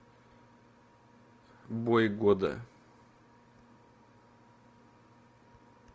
бой года